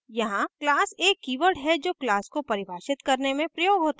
यहाँ class एक keyword है जो class को परिभाषित करने में प्रयोग होता है